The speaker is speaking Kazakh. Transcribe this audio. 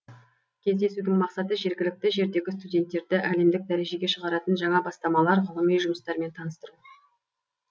кездесудің мақсаты жергілікті жердегі студенттерді әлемдік дәрежеге шығаратын жаңа бастамалар ғылыми жұмыстармен таныстыру